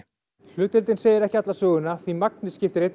hlutdeildin segir ekki alla söguna því magnið skiptir